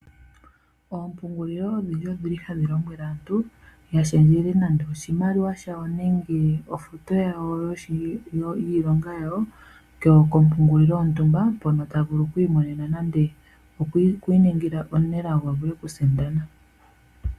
Oompungulilo odhindji odhi li hadhi lombwele aantu, yashendjele nande oshimaliwa shayo nenge ofuto yawo yiilonga yawo kompungulilo yontumba, mpono tavulu okwiimonena nenge okwiiningila omunelago, ye avule okusindana.